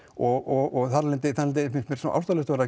og þar af leiðandi finnst mér ástæðulaust